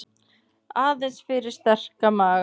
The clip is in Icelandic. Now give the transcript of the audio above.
Aðeins fyrir sterka maga.